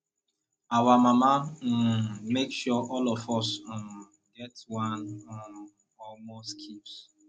our mama um make sure all of us um get one um or more skills